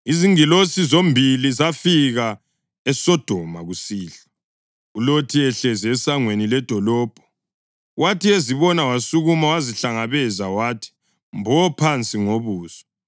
Izingilosi zombili zafika eSodoma kusihlwa, uLothi ehlezi esangweni ledolobho. Wathi ezibona wasukuma wazihlangabeza wathi mbo phansi ngobuso.